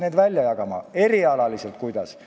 Kuidas sellega erialati on?